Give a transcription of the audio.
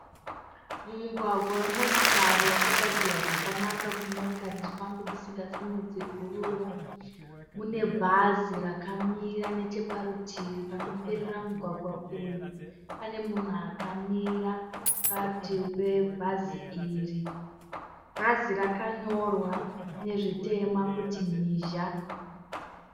Mumugwaga wemotikari wakagadzirwa zvakanaka kuti motokari dzifambe dzisingasimudzi guruva. Mune bhazi rakamira necheparutivi panoperera mugwagwa uyu pane munhu akamira parutivi pe bhazi iri. Bhazi rakanyorwa nezvitema kuti mhizha.